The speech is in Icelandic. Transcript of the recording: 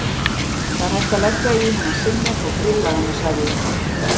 Það er hægt að leggja hana í sinnep og grilla hana sagði ég.